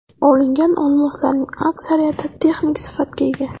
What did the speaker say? Olingan olmoslarning aksariyati texnik sifatga ega.